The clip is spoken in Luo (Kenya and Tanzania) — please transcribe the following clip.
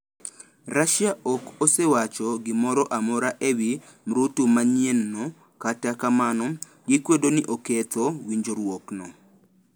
Russia ok osewacho gimoro amora e wi mrutu manyienno, kata kamano, gikwedo ni oketho winjruokno.